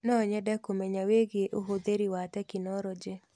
No nyende kũmenya wĩgiĩ ũhũthĩri wa tekinoronjĩ.